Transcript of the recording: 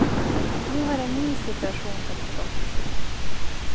Nu har en ny situation uppstått.